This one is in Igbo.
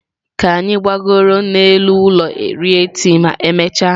Ka anyị gbagoro n'elu ụlọ rie tii ma emechaa.